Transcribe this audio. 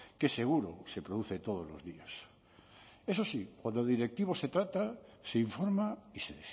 que seguro se produce todos los días eso sí cuando directivos se trata se informa y se